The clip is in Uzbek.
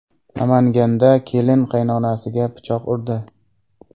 Namanganda kelin qaynonasiga pichoq urdi.